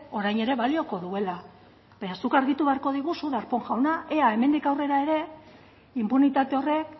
orain era balioko duela baina zuk argitu beharko diguzu darpón jauna ea hemendik aurrera ere inpunitate horrek